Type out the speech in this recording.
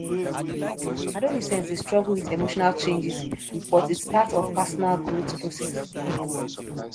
adolescents dey struggle with emotional changes but its part of personal growth process